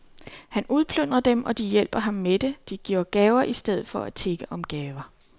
Han udplyndrer dem og de hjælper ham med det, de giver gaver i stedet for at tigge om gaver.